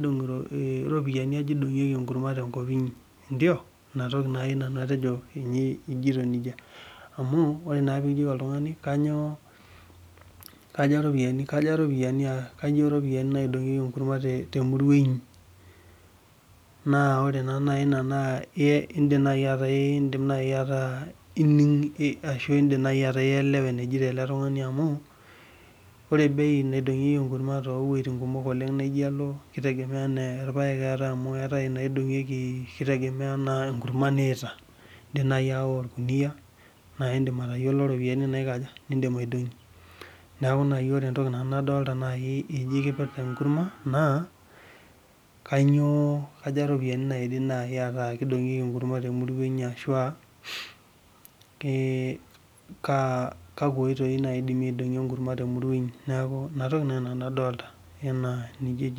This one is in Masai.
karopiyani aja idongieki enkurma tenkop inyi inatoki nai nanu ajoti amu ore ake pekijoki oltungani kaja ropiyani naidomgieki enkurma temurua inyi indim nai ataa ining ashu indim nai ataa ielewa enejito eletungani amu ore bei naidongieki irpaek na kitegemea amu eetae naidongieki irpaek eetae naidongieki kitegemea enkurma niyaita indim nai ayawa orkunia na indim atayiolo ropiyani nindim aidongie neaku kaja ropiyani naidol ataa kidongieki enkurma temurua inyi ashu kakwa oitoi indimi aidongie enkurma temurua inyi neaku inatoki nai nanu adolita